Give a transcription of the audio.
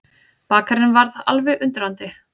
Bakarinn varð alveg undrandi.